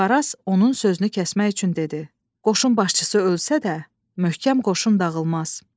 Varaz onun sözünü kəsmək üçün dedi: Qoşun başçısı ölsə də, möhkəm qoşun dağılmaz.